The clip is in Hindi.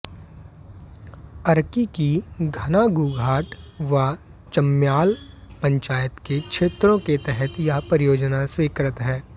अर्की की घनागूघाट व चम्याल पंचायत के क्षेत्रों के तहत यह परियोजना स्वीकृत है